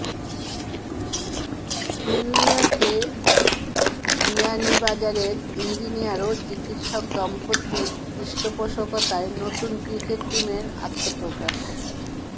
নিউইয়র্কে বিয়ানীবাজারের ইঞ্জিনিয়ার ও চিকিৎসক দম্পতির পৃষ্ঠপোষকতায় নতুন ক্রিকেট টিমের আত্মপ্রকাশ